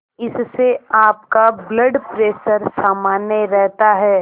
इससे आपका blood pressure सामान्य रहता है